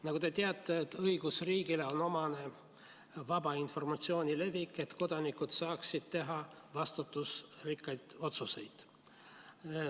Nagu te teate, siis õigusriigile on omane vaba informatsiooni levik, et kodanikud saaksid teha vastutusrikkaid otsuseid.